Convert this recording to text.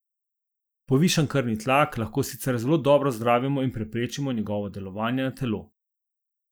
Povišan krvni tlak lahko sicer zelo dobro zdravimo in preprečimo njegovo delovanje na telo.